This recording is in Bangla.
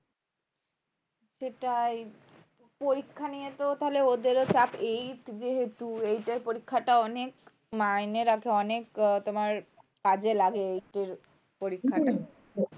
সেটাই পরীক্ষা নিয়ে তো তাহলে ওদের চাপ eight যেহেতু eight এর পরীক্ষাটা অনেক মাইনে রাখে অনেক তোমার কাজে লাগে একটু পরীক্ষাটা